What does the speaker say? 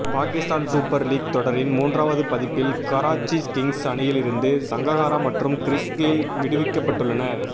Pakistan super league தொடரின் மூன்றாவது பதிப்பில் கராச்சி கிங்ஸ் அணியிலிருந்து சங்ககாரா மற்றும் கிறிஸ் கெயில் விடுவிக்கப்பட்டுள்ளனர்